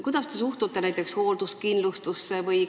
Kuidas te suhtute näiteks hoolduskindlustusse?